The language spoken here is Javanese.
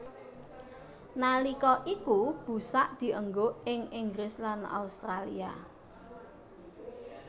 Nalika iku busak dienggo ing Inggris lan Australia